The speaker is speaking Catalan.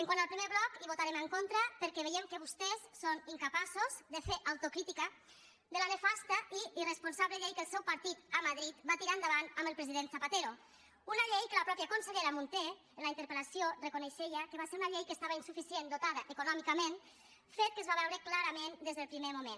quant al primer bloc hi votarem en contra perquè veiem que vostès són incapaços de fer autocrítica de la nefasta i irresponsable llei que el seu partit a madrid va tirar endavant amb el president zapatero una llei que la mateixa consellera munté en la interpel·lació reconeixia que va ser una llei que estava insuficientment dotada econòmicament fet que es va veure clarament des del primer moment